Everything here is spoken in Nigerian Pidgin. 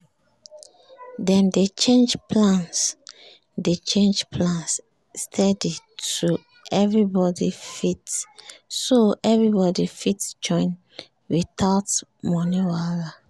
dem dey change plans dey change plans steady so everybody fit join without money wahala